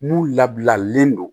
N'u labilalen don